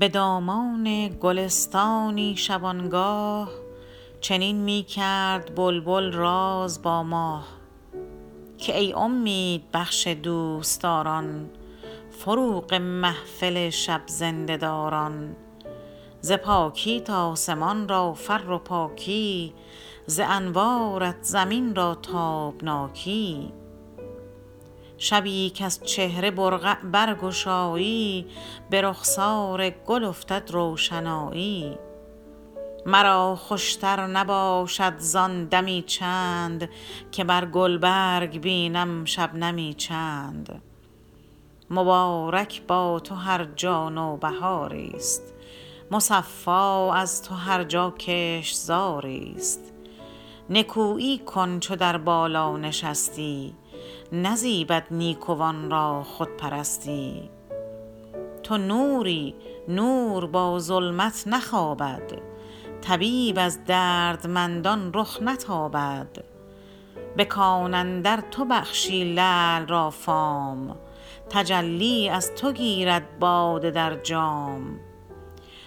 بدامان گلستانی شبانگاه چنین میکرد بلبل راز با ماه که ای امید بخش دوستداران فروغ محفل شب زنده داران ز پاکیت آسمان را فر و پاکی ز انوارت زمین را تابناکی شبی کز چهره برقع برگشایی برخسار گل افتد روشنایی مرا خوشتر نباشد زان دمی چند که بر گلبرگ بینم شبنمی چند مبارک با تو هر جا نوبهاریست مصفا از تو هر جا کشتزاری است نکویی کن چو در بالا نشستی نزیبد نیکوان را خودپرستی تو نوری نور با ظلمت نخوابد طبیب از دردمندان رخ نتابد بکان اندر تو بخشی لعل را فام تجلی از تو گیرد باده در جام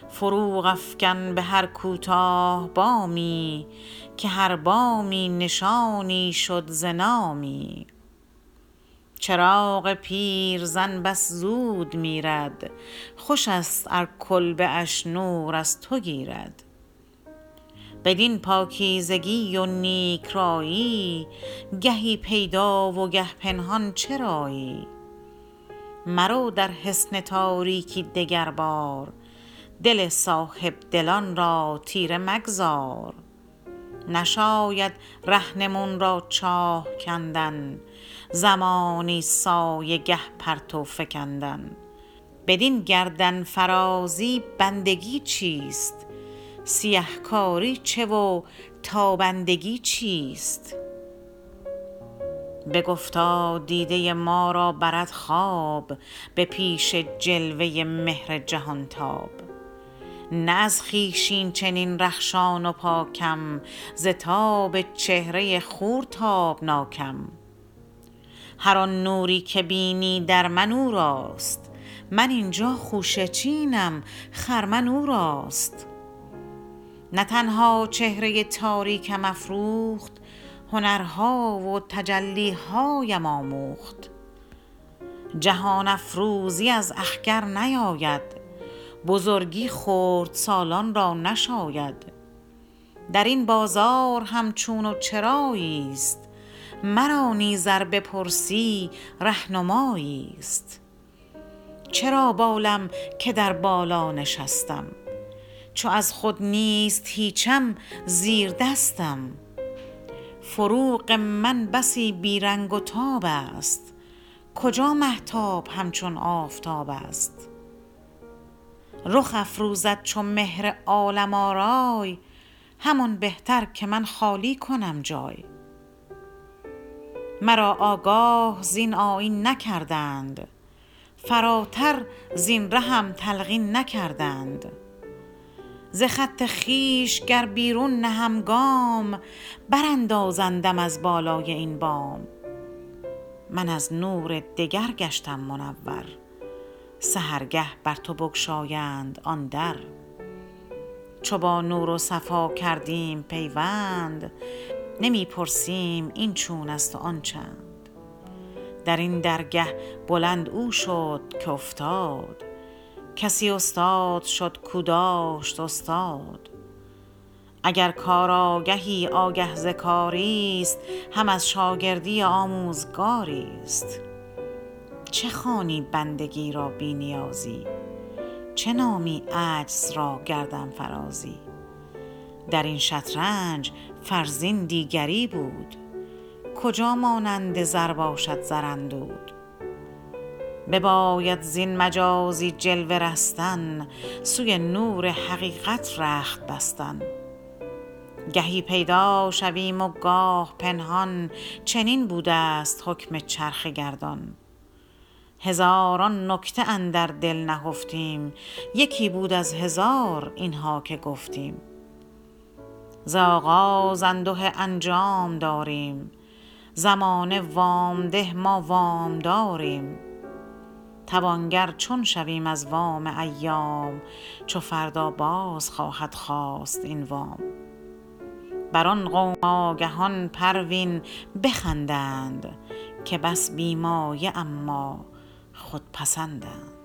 فروغ افکن بهر کوتاه بامی که هر بامی نشانی شد ز نامی چراغ پیرزن بس زود میرد خوشست ار کلبه اش نور از تو گیرد بدین پاکیزگی و نیک رایی گهی پیدا و گه پنهان چرایی مرو در حصن تاریکی دگر بار دل صاحبدلان را تیره مگذار نشاید رهنمون را چاه کندن زمانی سایه گه پرتو فکندن بدین گردنفرازی بندگی چیست سیه کاری چه و تابندگی چیست بگفتا دیده ما را برد خواب به پیش جلوه مهر جهانتاب نه از خویش اینچنین رخشان و پاکم ز تاب چهره خور تابناکم هر آن نوری که بینی در من اوراست من اینجا خوشه چینم خرمن اوراست نه تنها چهره تاریکم افروخت هنرها و تجلیهایم آموخت جهان افروزی از اخگر نیاید بزرگی خردسالان را نشاید درین بازار هم چون و چراییست مرا نیز ار بپرسی رهنمایی است چرا بالم که در بالا نشستم چو از خود نیست هیچم زیردستم فروغ من بسی بیرنگ و تابست کجا مهتاب همچون آفتابست رخ افروزد چو مهر عالم آرای همان بهتر که من خالی کنم جای مرا آگاه زین آیین نکردند فراتر زین رهم تلقین نکردند ز خط خویش گر بیرون نهم گام براندازندم از بالای این بام من از نور دگر گشتم منور سحرگه بر تو بگشایند آن در چو با نور و صفا کردیم پیوند نمی پرسیم این چونست و آن چند درین درگه بلند او شد که افتاد کسی استاد شد کاو داشت استاد اگر کار آگهی آگه ز کاریست هم از شاگردی آموزگاریست چه خوانی بندگی را بی نیازی چه نامی عجز را گردنفرازی درین شطرنج فرزین دیگری بود کجا مانند زر باشد زراندود بباید زین مجازی جلوه رستن سوی نور حقیقت رخت بستن گهی پیدا شویم و گاه پنهان چنین بودست حکم چرخ گردان هزاران نکته اندر دل نهفتیم یکی بود از هزار اینها که گفتیم ز آغاز انده انجام داریم زمانه وام ده ما وامداریم توانگر چون شویم از وام ایام چو فردا باز خواهد خواست این وام بر آن قوم آگهان پروین بخندند که بس بی مایه اما خودپسندند